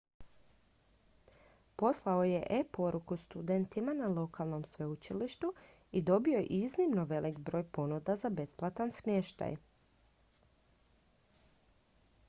poslao je e-poruku studentima na lokalnom sveučilištu i dobio iznimno velik broj ponuda za besplatan smještaj